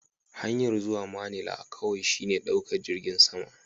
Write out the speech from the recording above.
Hanyar zuwa manila kawai shine ɗaukar jirgin sama.